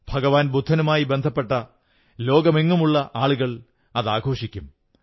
ഭഗവാൻ ബുദ്ധനുമായി ബന്ധപ്പെട്ട ലോകമെങ്ങുമുള്ള ആളുകൾ അതാഘോഷിക്കും